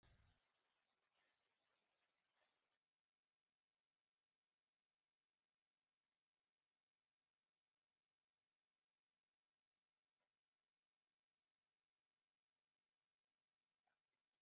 klukkan var tvö þegar hann vaknaði fárveikur.